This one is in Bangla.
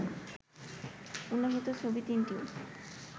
উল্লেখিত ছবি তিনটিও